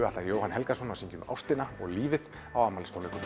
ætlar að Jóhann Helgason að syngja um ástina og lífið á afmælistónleikum